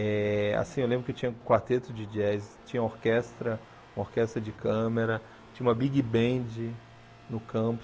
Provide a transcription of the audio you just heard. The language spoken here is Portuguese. Eh assim eu lembro que tinha quarteto de jazz, tinha orquestra, uma orquestra de câmera, tinha uma big band no campus.